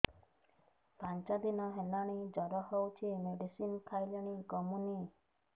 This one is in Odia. ପାଞ୍ଚ ଦିନ ହେଲାଣି ଜର ହଉଚି ମେଡିସିନ ଖାଇଲିଣି କମୁନି